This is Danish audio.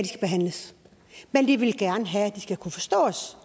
behandles men de vil gerne have at de skal kunne forstås